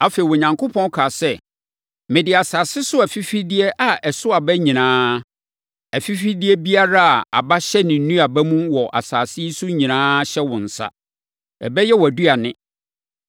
Afei, Onyankopɔn kaa sɛ, “Mede asase so afifideɛ a ɛso aba nyinaa, afifideɛ biara a aba hyɛ ne nnuaba mu wɔ asase yi so nyinaa hyɛ wo nsa. Ɛbɛyɛ wʼaduane.